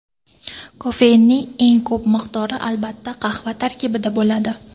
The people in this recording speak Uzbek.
Kofeinning eng ko‘p miqdori albatta qahva tarkibida bo‘ladi.